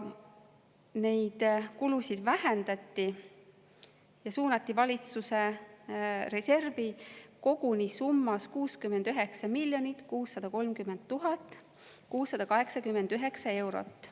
Neid kulusid vähendati ja suunati valitsuse reservi koguni summas 69 630 689 eurot.